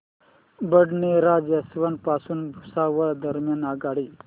Badnera junction पासून भुसावळ दरम्यान आगगाडी